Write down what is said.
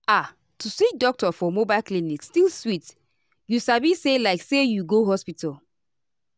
ah to see doctor for mobile clinic still sweet you sabi say like say you go hospital.